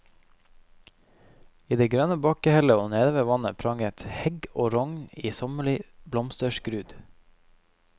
I det grønne bakkehellet og nede ved vannet pranget hegg og rogn i sommerlig blomsterskrud.